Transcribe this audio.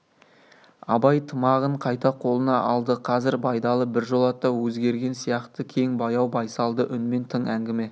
абай тымағын қайта қолына алды қазір байдалы біржолата өзгерген сияқты кең баяу байсалды үнмен тың әңгіме